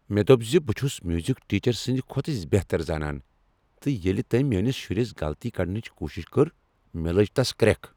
مےٚ دوٚپ ز بہٕ چھس میوزک ٹیچرٕ سٕند کھۄتہٕ بہتر زانان تہٕ ییٚلہ تٔمۍ میٲنس شُرس غلطی کڈنٕچ کوشش کٔر مےٚ لٲج تس کرٛیکھ۔